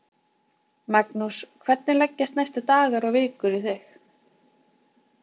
Magnús: Hvernig leggjast næstu dagar og vikur í þig?